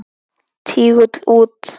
Tígull út.